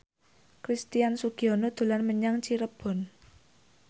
Christian Sugiono dolan menyang Cirebon